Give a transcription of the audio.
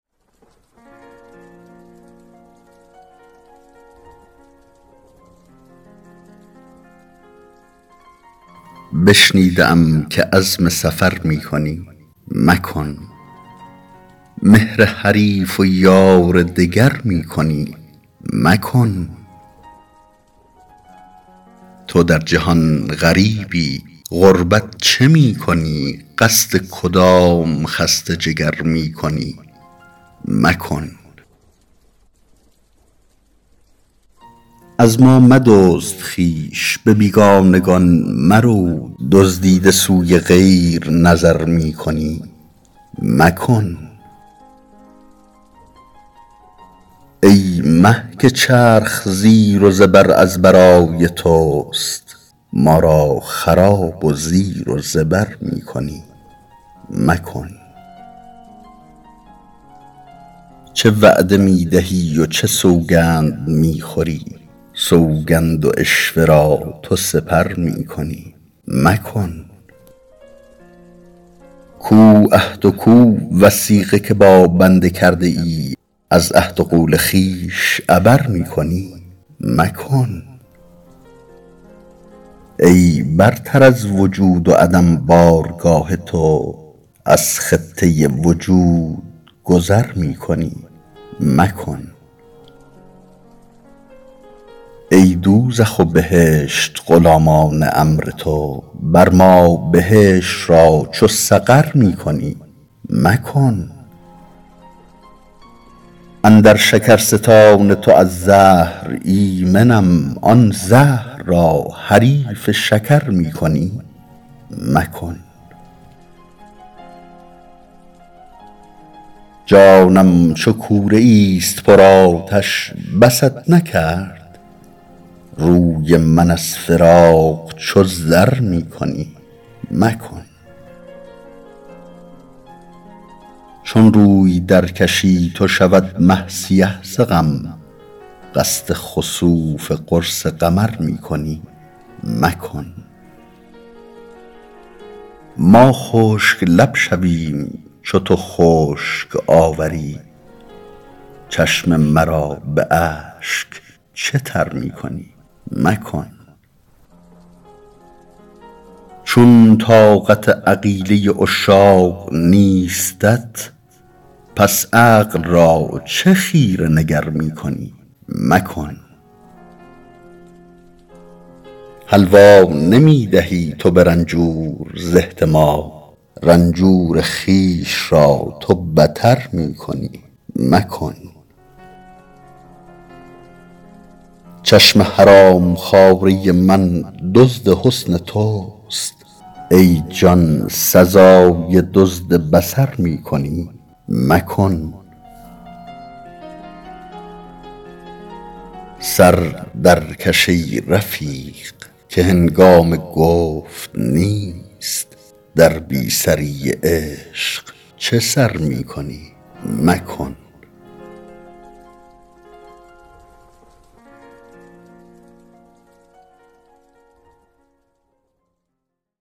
بشنیده ام که عزم سفر می کنی مکن مهر حریف و یار دگر می کنی مکن تو در جهان غریبی غربت چه می کنی قصد کدام خسته جگر می کنی مکن از ما مدزد خویش به بیگانگان مرو دزدیده سوی غیر نظر می کنی مکن ای مه که چرخ زیر و زبر از برای توست ما را خراب و زیر و زبر می کنی مکن چه وعده می دهی و چه سوگند می خوری سوگند و عشوه را تو سپر می کنی مکن کو عهد و کو وثیقه که با بنده کرده ای از عهد و قول خویش عبر می کنی مکن ای برتر از وجود و عدم بارگاه تو از خطه وجود گذر می کنی مکن ای دوزخ و بهشت غلامان امر تو بر ما بهشت را چو سقر می کنی مکن اندر شکرستان تو از زهر ایمنیم آن زهر را حریف شکر می کنی مکن جانم چو کوره ای است پرآتش بست نکرد روی من از فراق چو زر می کنی مکن چون روی درکشی تو شود مه سیه ز غم قصد خسوف قرص قمر می کنی مکن ما خشک لب شویم چو تو خشک آوری چشم مرا به اشک چه تر می کنی مکن چون طاقت عقیله عشاق نیستت پس عقل را چه خیره نگر می کنی مکن حلوا نمی دهی تو به رنجور ز احتما رنجور خویش را تو بتر می کنی مکن چشم حرام خواره من دزد حسن توست ای جان سزای دزد بصر می کنی مکن سر درکش ای رفیق که هنگام گفت نیست در بی سری عشق چه سر می کنی مکن